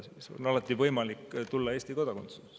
Neil on alati võimalik saada Eesti kodanikeks.